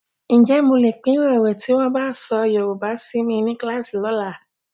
Ǹjẹ́ mo lè pirọrọ tí wọ́n bá fọ Yorùbá si mi ní kíláàsì lọ́la?